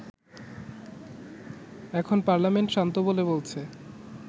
এখন পার্লামেন্ট শান্ত বলে বলছে